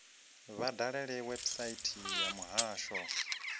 vha dalele website ya muhasho